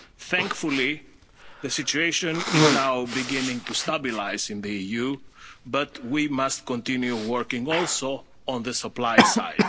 supplies. Thankfully, the situation is now beginning to stabilise in the EU, but we must also continue working on the